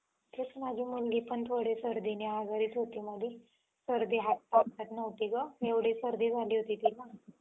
आता बघ अं मालिका चालू आहे.